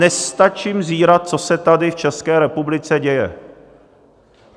Nestačím zírat, co se tady v České republice děje.